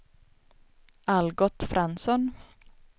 Algot Fransson